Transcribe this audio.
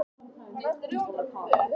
Það er mjög gott að hafa þá.